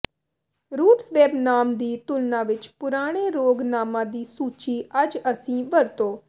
roots web ਨਾਮ ਦੀ ਤੁਲਨਾ ਵਿਚ ਪੁਰਾਣੇ ਰੋਗ ਨਾਮਾਂ ਦੀ ਸੂਚੀ ਅੱਜ ਅਸੀਂ ਵਰਤੋ